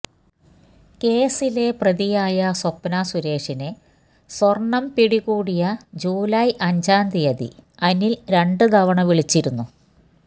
കേസിലെ പ്രതിയായ സ്വപ്ന സുരേഷിനെ സ്വർണം പിടികൂടിയ ജൂലൈ അഞ്ചാം തിയതി അനിൽ രണ്ട് തവണ വിളിച്ചിരുന്നു